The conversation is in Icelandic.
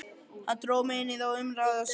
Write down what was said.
Hann dró mig inn í þá umræðu og sagði: